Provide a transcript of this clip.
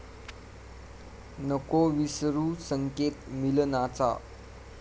नको विसरू संकेत मिलनाचा